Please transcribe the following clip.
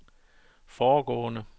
foregående